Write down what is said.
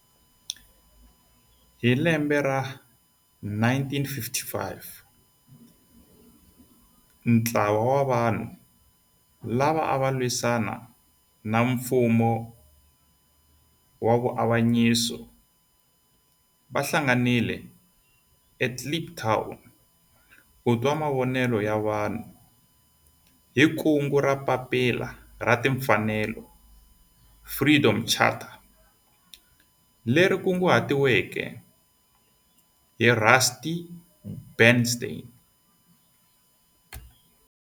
Hi 1955 ntlawa wa vanhu lava ava lwisana na nfumo wa avanyiso va hlanganile eKliptown ku twa mavonelo ya vanhu hi kungu ra Papila ra Tinfanelo Freedom Charter leri kunguhatiweke hi Rusty Bernstein.